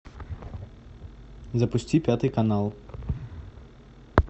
запусти пятый канал